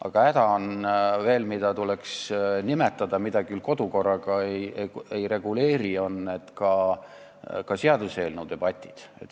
Aga häda, mida veel tuleks nimetada, kuigi kodukorraga seda ei reguleeri, on seaduseelnõu üle peetavad debatid.